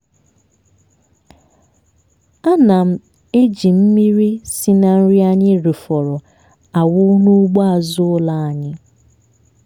a na m eji mmiri si na nri anyị rifọrọ awụ n'ugbo azụ ụlọ anyị.